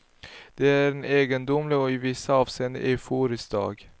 Det är en egendomlig och i vissa avseenden euforisk dag.